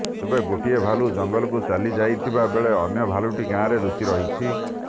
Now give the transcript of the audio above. ତେବେ ଗୋଟିଏ ଭାଲୁ ଜଙ୍ଗଲକୁ ଚାଲି ଯାଇଥିବା ବେଳେ ଅନ୍ୟ ଭାଲୁଟି ଗାଁରେ ଲୁଚି ରହିଛି